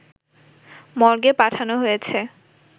মর্গে পাঠানো হয়েছে